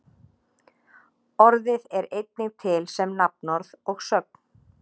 Orðið er einnig til sem nafnorð og sögn.